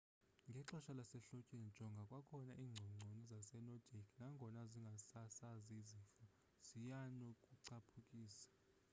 ngexesha lasehlotyeni jonga kwakhona iingcongconi zasenordic nangona zingasasazi zifo zianokucaphukisa